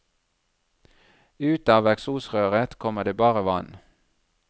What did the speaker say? Ut av eksosrøret kommer det bare vann.